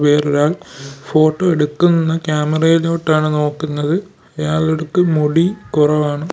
വേറൊരാൾ ഫോട്ടോ എടുക്കുന്ന ക്യാമറയിലോട്ടാണ് നോക്കുന്നത് അയാളടുക്ക് മുടി കുറവാണ്.